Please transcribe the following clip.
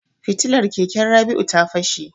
Fitilar keken Rabi'u ta fashe.